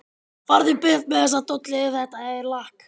FARÐU BURT MEÐ ÞESSA DOLLU EF ÞETTA ER LAKK.